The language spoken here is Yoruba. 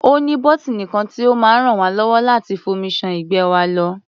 Ó ní bọ́tíìnì kan tí ó máa ràn wá lọ́wọ́ láti fomi ṣan ìgbẹ́ wa lọ.